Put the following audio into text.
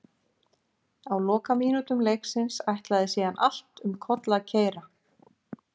Á lokamínútum leiksins ætlaði síðan allt um koll að keyra.